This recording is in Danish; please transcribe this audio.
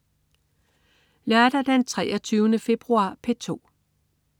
Lørdag den 23. februar - P2: